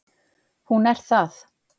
Hún er það